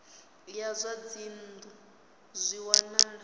ya zwa dzinnu zwi wanala